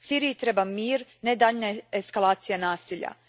Siriji treba mir, ne daljnja eskalacija nasilja.